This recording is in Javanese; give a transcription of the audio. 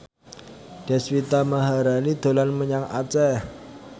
Deswita Maharani dolan menyang Aceh